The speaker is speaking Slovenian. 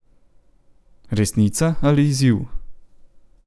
Resnica ali izziv?